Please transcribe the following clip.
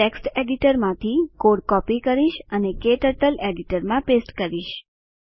હું ટેક્સ્ટ એડિટરમાંથી code copy કરીશ અને ક્ટર્ટલ એડિટરમાં પેસ્ટ કરીશ